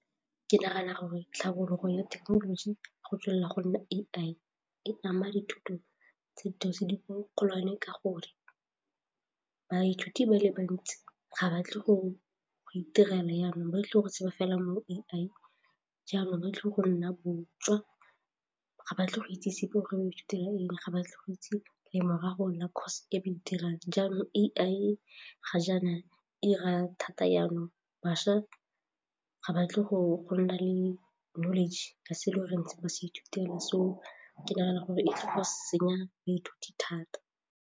Ke nagana gore tlhabologo ya thekenoloji go tswelela go nna A_I e ama dithuto tsa thuto sediko golwane ka gore baithuti ba le bantsi ga ba batle go itirela jaanong ba tlile go sheba fela mo A_I jaanong ba tle go nna botswa ga batle go ithutela eng ga batle go itse lemorago la course e ba e dirang jaanong A_I ga jaana a 'ira thata jaanong bašwa ga ba tle go nna le knowledge ka se ba ithutelang so ke nagana gore ke go senya baithuti thata.